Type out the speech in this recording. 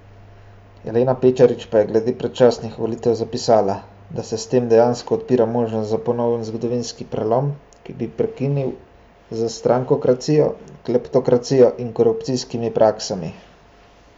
Elena Pečarič pa je glede predčasnih volitev zapisala, da se s tem dejansko odpira možnost za ponoven zgodovinski prelom, ki bo prekinil z strankokracijo, kleptokracijo in korupcijskimi praksami.